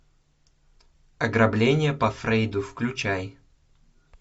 ограбление по фрейду включай